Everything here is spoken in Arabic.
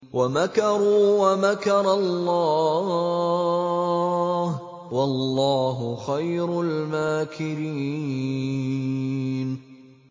وَمَكَرُوا وَمَكَرَ اللَّهُ ۖ وَاللَّهُ خَيْرُ الْمَاكِرِينَ